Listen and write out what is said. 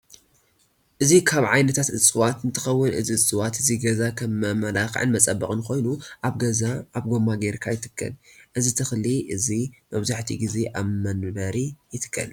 እዚ ካብ ዓይነታት እፅዋት እንትከው እዚ እፅዋት እዚ ገዛ ከም መመላክን መፀበክን ኮይኑ ኣበ ገዛ ኣብ ጎማ ገይርካ ይትክል። እዚ ተክሊ እዚ መብዛሕቲኡ ግዘ ኣብ መንበሪ ይትከል።